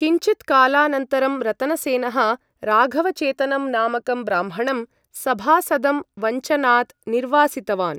किञ्चित्कालानन्तरं, रतनसेनः राघवचेतनं नामकं ब्राह्मणं सभासदं वञ्चनात् निर्वासितवान्।